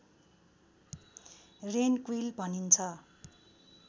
rain quail भनिन्छ